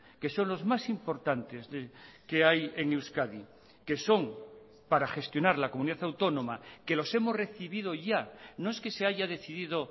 que son los más importantes que hay en euskadi que son para gestionar la comunidad autónoma que los hemos recibido ya no es que se haya decidido